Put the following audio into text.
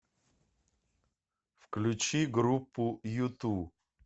включи группу юту